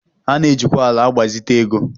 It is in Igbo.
A na-ejikwa ala agbazite ego